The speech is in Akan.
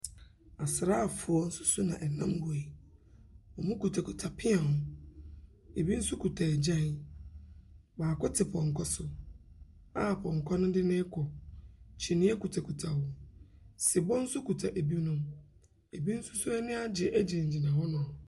Asraafoɔ nso na wɔnam hɔ yi. Wɔkitakita mpea. Bi nso kita agyan. Baako te pɔnkɔ so a pɔnkɔ no de no rekɔ. Kyiniiɛ kitakita wɔn. Seba nso kita binom. Binom nso so ani agye gyinagyina hɔnom.